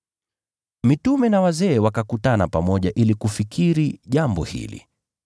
Mitume na wazee wakakutana pamoja ili kufikiri jambo hili.